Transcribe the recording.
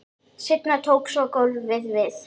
Seinna tók svo golfið við.